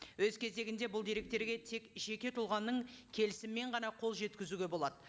өз кезегінде бұл деректерге тек жеке тұлғаның келісімімен ғана қол жеткізуге болады